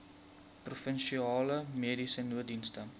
provinsiale mediese nooddienste